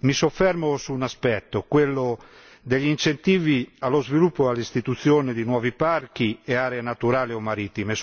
Mi soffermo su un aspetto, quello degli incentivi allo sviluppo e all'istituzione di nuovi parchi e aree naturali o marittime.